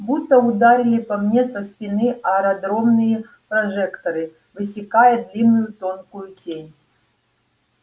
будто ударили по мне со спины аэродромные прожекторы высекая длинную тонкую тень